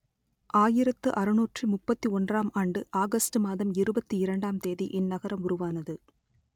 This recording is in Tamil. ஆயிரத்து அறுநூற்று முப்பத்தி ஒன்றாம் ஆண்டு ஆகஸ்ட் மாதம் இருபத்தி இரண்டாம் தேதி இந்நகரம் உருவானது